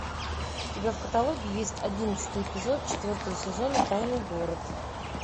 у тебя в каталоге есть одиннадцатый эпизод четвертого сезона тайный город